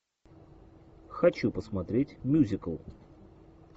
хочу посмотреть мюзикл